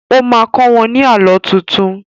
O má kọ́ wọ́n ní Àlọ́ tuntun